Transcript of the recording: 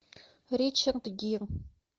ричард гир